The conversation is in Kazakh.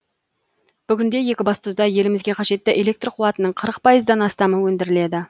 бүгінде екібастұзда елімізге қажетті электр қуатының қырық пайыздан астамы өндіріледі